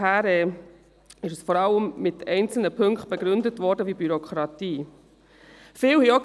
Daher ist es vor allem mit einzelnen Punkten wie der Bürokratie begründet worden.